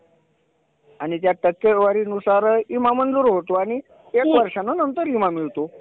आणि त्या टक्केवारीनुसार विमा मंजूर होतो आणि एक वर्षानं नंतर विमा मिळतो.